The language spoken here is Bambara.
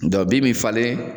Dɔn bin mi falen